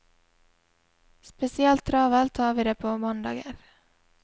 Spesielt travelt har vi det på mandager.